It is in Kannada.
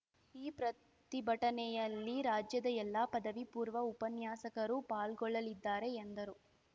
ಈ ಪ್ರತಿಭಟನೆಯಲ್ಲಿ ರಾಜ್ಯದ ಎಲ್ಲ ಪದವಿ ಪೂರ್ವ ಉಪನ್ಯಾಸಕರು ಪಾಲ್ಗೊಳ್ಳಲಿದ್ದಾರೆ ಎಂದರು